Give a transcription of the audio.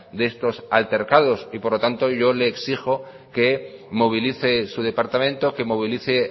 de estos altercado y por lo tanto yo le exijo que movilice su departamento que movilice